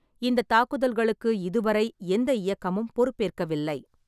இந்தத் தாக்குதல்களுக்கு இதுவரை எந்தக் இயக்கமும் பொறுப்பேற்கவில்லை.